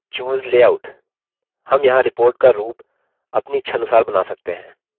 हम यहाँ report का रूप अपनी इच्छानुसार बना सकते हैं